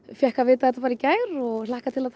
fékk að vita þetta bara í gær og hlakka til að